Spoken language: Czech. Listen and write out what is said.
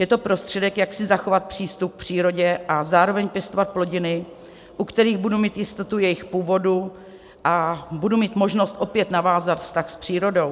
Je to prostředek, jak si zachovat přístup k přírodě a zároveň pěstovat plodiny, u kterých budu mít jistotu jejich původu a budu mít možnost opět navázat vztah s přírodou.